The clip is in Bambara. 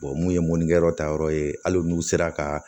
mun ye mɔnikɛyɔrɔ ta yɔrɔ ye hali n'u sera ka